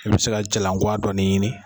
E bi se ka jalan kuwa dɔɔni ɲini.